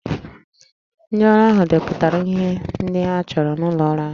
Ndị ọrụ ahụ depụtara ihe ndị a chọrọ n'ụlọ ọrụ ha